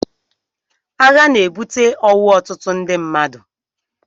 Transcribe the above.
Agha na-ebute ọnwụ ọtụtụ ndị mmadụ.